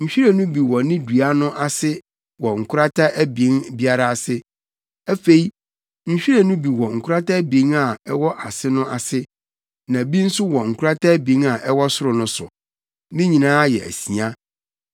Nhwiren no bi wɔ ne dua no ase wɔ nkorata abien biara ase. Afei, nhwiren no bi wɔ nkorata abien a ɛwɔ ase no ase, na bi nso wɔ nkorata abien a ɛwɔ soro no so. Ne nyinaa yɛ asia.